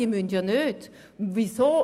Sie sind ja nicht dazu gezwungen.